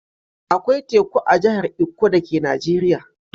Akwai teku a jahar ikko dake Najeriya.